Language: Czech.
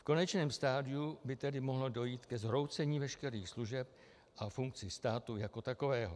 V konečném stadiu by tedy mohlo dojít ke zhroucení veškerých služeb a funkcí státu jako takového.